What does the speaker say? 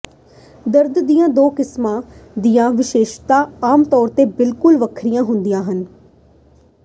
ਦਰਦ ਦੀਆਂ ਦੋ ਕਿਸਮਾਂ ਦੀਆਂ ਵਿਸ਼ੇਸ਼ਤਾਵਾਂ ਆਮ ਤੌਰ ਤੇ ਬਿਲਕੁਲ ਵੱਖਰੀਆਂ ਹੁੰਦੀਆਂ ਹਨ